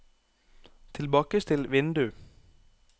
tilbakestill vindu